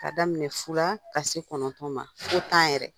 Ka daminɛ fu la fɔ ka se kɔnɔntɔn ma fɔ tan yɛrɛ.